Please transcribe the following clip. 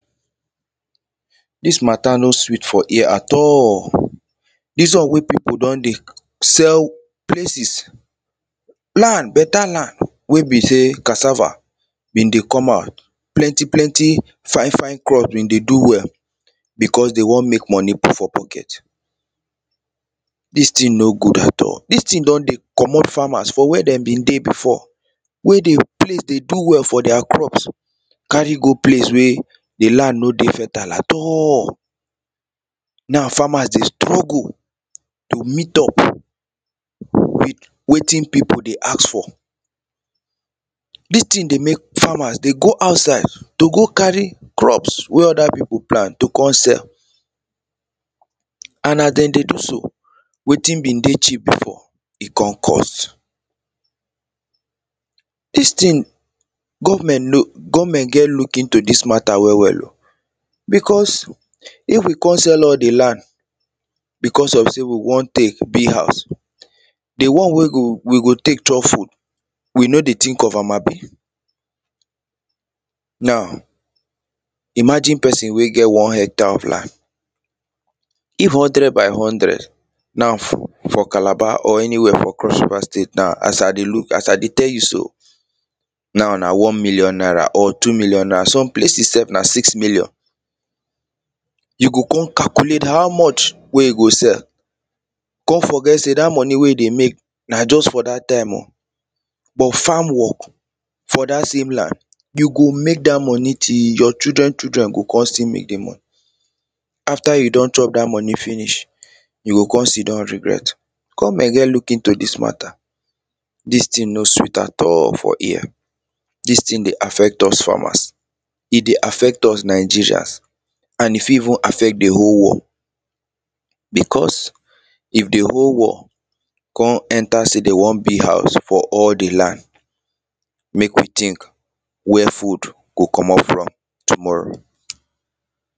this matter no sweet for ear at all this one wey people don dey sell places land beta land wey be say cassava been dey come out plenty plenty fine fine crop been dey do well because they wan make money put for pocket this thing no good at all this thing don dey comot farmers for where they been dey before wey the dey do well for their crops carry go place wey the land no dey fertile at all now farmers dey struggle to meet up wetin people dey ask for this thing dey make farmers dey go outside to go carry crops wey other people plant to come sell and as they dey do so wetin been dey cheap before e con cost this thing government government get look into this matter well well o because if we con sell all the because of say we wan take build house the one wey go we go take chop food we no dey think of am abi now imagine person wey get one hecter of land if hundred by hundred na for calabar or anywhere for crossriver state now as i dey look as i dey tell you so now na one million naira or two million naira some places sef na six million you go con calculate how much wey you go sell con forget say that money wey you dey make na just for that time o but farm work for that same land you go make that money till your children children go con still make the money after you don chop that money finish you go con sit down regret government get look into this matter this thing no sweet at all for ear this thing dey affect us farmers e dey affect us nigerians and e fit even affect the whole world because if the whole wor con enter say they wan build house for all the land make we think where food go comot from tomorrow